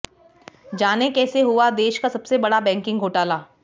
जानें कैसे हुआ देश का सबसे बड़ा बैंकिग घोटाला